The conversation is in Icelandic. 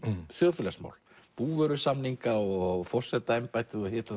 þjóðfélagsmál búvörusamninga og forsetaembættið og hitt og